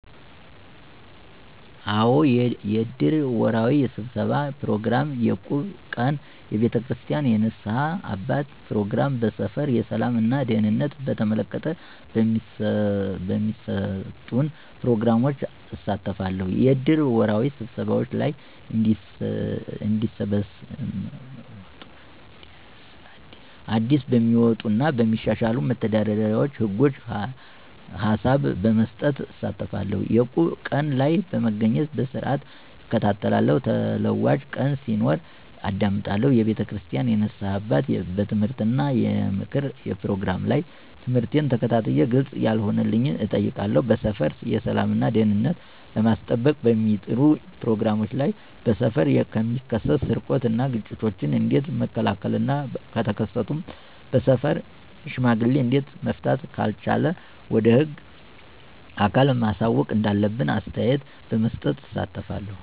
አዎ! የእድር ወርሃዊ ስብሠባ ፕሮግራም፣ የእቁብ ቀን፣ የቤተክርስቲያን የንስሐ አባት ፕሮግራም፣ በሠፈር የሠላም እና ደህንነትን በተመለከተ በሚሠጡን ፕሮግራሞች እሳተፋለሁ። -የእድር ወርሃዊ ስብሰባዎች ላይ አዲስበሚወጡ እና በሚሻሻሉ መተዳደሪያ ህጎች ሀላብ በመስጠት እሳተፋለሁ። - የእቁብ ቀን ላይ በመገኘት በስርዓትእከታተላለሁ ተለዋጭ ቀን ሲኖር አዳምጣለሁ። የቤተክርስቲያን የንስሐ አባት የምትምህርት እና የምክር ፕሮግራም ላይ ትምህርቱን ተከታትየ ግልፅ ያለሆነልኝን እጠይቃለሁ። -በሠፈር የሠላም እና ደህንነትን ለማስጠበቅ በሚጠሩ ፕሮግራሞች ላይ በሠፈር የሚከሠትን ስርቆት እና ግጭቶችን ኦንዴት መከላከል እና ከተከሠቱም በሠፈር ሽማግሌ እዴት መፍታት ካልተቻለ ወደ ህግ አካል ማሳወቅ እንዳለብን አስተያየት በመስጠት እሳተፋለሁ።